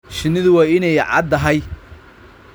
Shinnidu waa inay caddahay.